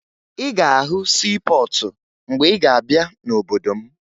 Ị ga-ahụ siipọọtụ mgbe ị ga-abịa n'obodo m